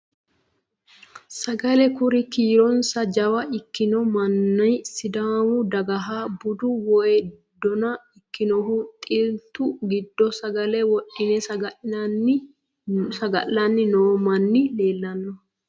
Sagale kuri kiironsa jawa ikkino manni sidaamu dagaha bude woyi dona ikkinohu xiltu giddo sagale wodhe saga'lanni noo manni leellanno